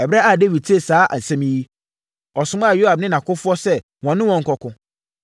Ɛberɛ a Dawid tee saa asɛm yi no, ɔsomaa Yoab ne nʼakofoɔ sɛ wɔne wɔn nkɔko.